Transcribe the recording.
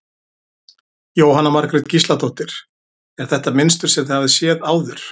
Jóhanna Margrét Gísladóttir: Er þetta mynstur sem þið hafið séð áður?